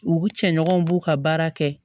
U cɛɲɔgɔnw b'u ka baara kɛ